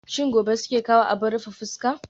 Shin gobe suke kawo abin rufe fuska?